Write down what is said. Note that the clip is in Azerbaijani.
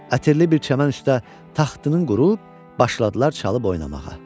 Ətirli bir çəmən üstdə taxtının qurub başladılar çalıb oynamağa.